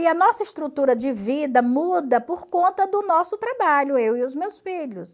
E a nossa estrutura de vida muda por conta do nosso trabalho, eu e os meus filhos.